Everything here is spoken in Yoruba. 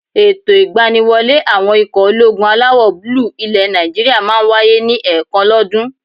Ètò ìgbaniwọlé àwọn ikọ̀ ológun alawọ̀-búúlù ilẹ̀ Nàìjíríyà máà ń wáyé ní ẹ̀ẹ̀kan lọ́ dún.